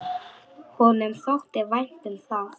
Honum þótti vænt um það.